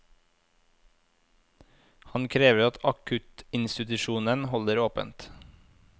Han krever at akuttinstitusjonen holder åpent.